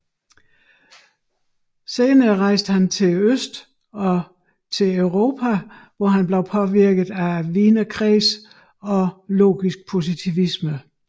Senere rejste han til østen og til Europa hvor han blev påvirket af Wienerkredsen og logisk positivisme